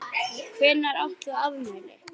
Hvenær átt þú afmæli?